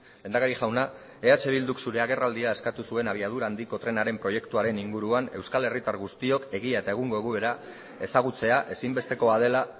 lehendakari jauna eh bilduk zure agerraldia eskatu zuen abiadura handiko trenaren proiektuaren inguruan euskal herritar guztiok egia eta egungo egoera ezagutzea ezinbestekoa dela